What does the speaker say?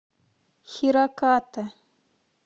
хираката